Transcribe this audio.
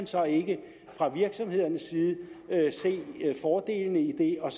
så ikke fra virksomhedernes side se fordelene i det og